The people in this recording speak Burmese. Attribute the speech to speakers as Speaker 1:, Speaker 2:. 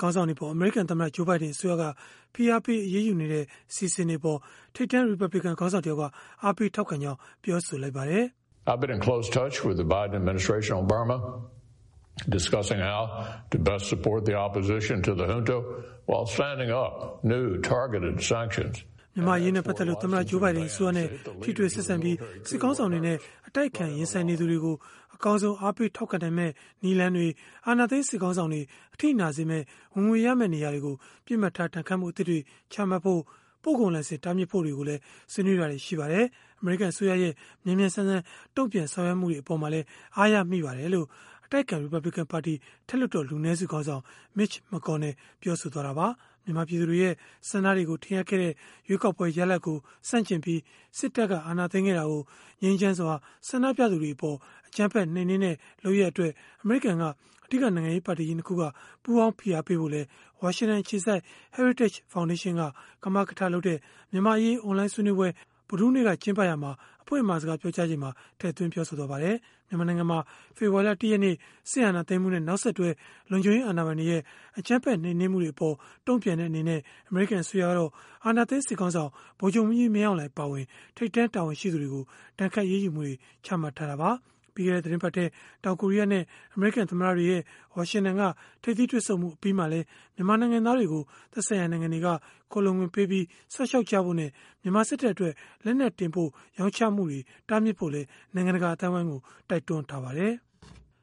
Speaker 1: ခေါင်းဆောင်တွေအပေါ် အမေရိကန်သမ္မတ Joe Biden အစိုးရက ဖိအားပေး အရေးယူနေတဲ့ အစီအစဉ်တွေအပေါ် ထိပ်တန်းရီပတ်ဘလစ်ကန် ခေါင်းဆောင်တယောက်က အားပေးထောက်ခံကြောင်း ပြောဆိုလိုက်ပါတယ်။ “မြန်မာ့အရေးနဲ့ ပတ်သက်လို့ သမ္မတ Joe Biden အစိုးရနဲ့ ထိတွေ့ဆက်ဆံပြီး၊ စစ်ခေါင်းဆောင်တွေနဲ့ အတိုက်အခံ ရင်ဆိုင်နေသူတွေကို အကောင်းဆုံး အားပေးထောက်ခံနိုင်မယ့် နည်းလမ်းတွေ၊ အာဏာသိမ်း စစ်ခေါင်းဆောင်တွေ အထိနာစေမယ့် ဝင်ငွေရမယ့် နေရာတွေကို ပစ်မှတ်ထား ဒဏ်ခတ်မှု အသစ်တွေ ချမှတ်ဖို့၊ ပို့ကုန်လိုင်စင် တားမြစ်ဖို့တွေကိုလည်း ဆွေးနွေးတာတွေ ရှိပါတယ်။ အမေရိကန် အစိုးရရဲ့ မြန်မြန်ဆန်ဆန် တုံ့ပြန်ဆောင်ရွက်မှုတွေ အပေါ်မှာလည်း အားရမိပါတယ်။” လို့ အတိုက်အခံ ရီပတ်ဘလစ်ကန်ပါတီ အထက်လွှတ်တော် လူနည်းစုခေါင်းဆောင် Mitch McConnell ကပြောဆိုသွားတာပါ။ မြန်မာပြည်သူတွေရဲ့ ဆန္ဒတွေကို ထင်ဟပ်ခဲ့တဲ့ ရွေးကောက်ပွဲ ရလဒ်ကို ဆန့်ကျင်ပြီး စစ်တပ်က အာဏာသိမ်းခဲ့တာကို ငြိမ်းချမ်းစွာ ဆန္ဒပြသူတွေကို အကြမ်းဖက် နှိမ်နင်းတဲ့ လုပ်ရပ်အပေါ် အမေရိကန်က အဓိက နိုင်ငံရေး ပါတီကြီး ၂ ခုက ပူးပေါင်းဖိအားပေးဖို့လည်း ဝါရှင်တန်အခြေစိုက် Heritage ဖောင်ဒေးရှင်းက ကမကထလုပ်တဲ့ မြန်မာ့အရေး အွန်လိုင်းဆွေးနွေးပွဲ ဗုဒ္ဓဟူးနေ့က ကျင်းပရာမှာ အဖွင့်အမှာစကား ပြောကြားရာမှာ ထည့်သွင်းပြောဆိုသွားပါတယ်။ မြန်မာနိုင်ငံမှာ ဖေဖော်ဝါရီလ ၁ ရက်နေ့ စစ်အာဏာသိမ်းမှုနဲ့ နောက်ဆက်တွဲ လုံခြုံရေးအာဏာပိုင်တွေရဲ့ အကြမ်းဖက် နှိမ်နင်းမှုတွေအပေါ် တုံ့ပြန်တဲ့ အနေနဲ့ အမေရိကန်အစိုးရကတော့ အာဏာသိမ်းစစ်ခေါင်းဆောင် ဗိုလ်ချုပ်မှူးကြီး မင်းအောင်လှိုင်အပါအဝင် ထိပ်တန်း တာဝန်ရှိသူတွေကို ဒဏ်ခတ်အရေးမှုတွေ ချမှတ်ထားတာပါ။ ပြီးခဲ့တဲ့ သီတင်းပတ်ထဲ တောင်ကိုရီးယားနဲ့ အမေရိကန် သမ္မတတွေရဲ့ ဝါရှင်တန်က ထိပ်သီးတွေ့ဆုံမှု အပြီးမှာလည်း မြန်မာနိုင်ငံသားတွေကို သက်ဆိုင်ရာနိုင်ငံတွေက ခိုလှုံခွင့်ပေးပြီး စောင့်ရှောက်ကြဖို့နဲ့ မြန်မာစစ်တပ်အတွက် လက်နက်တင်ပို့ရောင်းချမှုတွေ တားမြစ်ဖို့လည်း နိုင်ငံတကာ အသိုင်းအဝန်းကို တိုက်တွန်းထားပါတယ်။